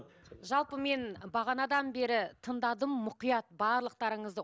жалпы мен бағанадан бері тыңдадым мұқият барлықтарыңызды